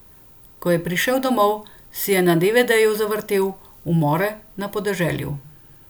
Ko je prišel domov, si je na devedeju zavrtel Umore na podeželju.